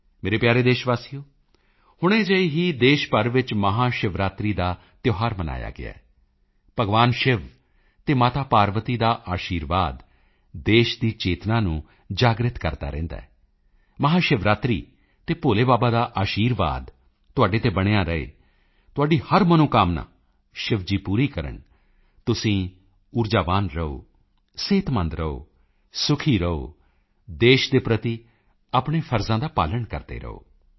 ਮੇਰੇ ਪਿਆਰੇ ਦੇਸ਼ਵਾਸੀਓ ਹੁਣੇ ਜਿਹੇ ਹੀ ਦੇਸ਼ ਭਰ ਵਿੱਚ ਮਹਾਸ਼ਿਵਰਾਤਰੀ ਦਾ ਤਿਓਹਾਰ ਮਨਾਇਆ ਗਿਆ ਹੈ ਭਗਵਾਨ ਸ਼ਿਵ ਅਤੇ ਮਾਤਾ ਪਾਰਵਤੀ ਦਾ ਆਸ਼ੀਰਵਾਦ ਦੇਸ਼ ਦੀ ਚੇਤਨਾ ਨੂੰ ਜਾਗ੍ਰਿਤ ਕਰਦਾ ਰਹਿੰਦਾ ਹੈ ਮਹਾਸ਼ਿਵਰਾਤਰੀ ਤੇ ਭੋਲੇ ਬਾਬਾ ਦਾ ਆਸ਼ੀਰਵਾਦ ਤੁਹਾਡੇ ਤੇ ਬਣਿਆ ਰਹੇ ਤੁਹਾਡੀ ਹਰ ਮਨੋਕਾਮਨਾ ਸ਼ਿਵ ਜੀ ਪੂਰੀ ਕਰਨ ਤੁਸੀਂ ਊਰਜਾਵਾਨ ਰਹੋ ਸਿਹਤਮੰਦ ਰਹੋ ਸੁਖੀ ਰਹੋ ਅਤੇ ਦੇਸ਼ ਦੇ ਪ੍ਰਤੀ ਆਪਣੇ ਫ਼ਰਜ਼ਾਂ ਦਾ ਪਾਲਣ ਕਰਦੇ ਰਹੋ